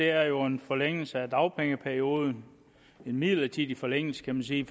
er jo en forlængelse af dagpengeperioden en midlertidig forlængelse kan man sige